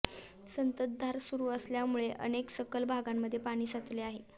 संततधार सुरू असल्यामुळे अनेक सखल भागांमध्ये पाणी साचले आहे